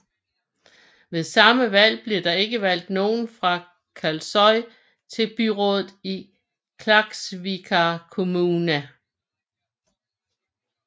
Ved samme valg blev det ikke valgt nogen fra Kalsoy til byrådet i Klaksvíkar kommuna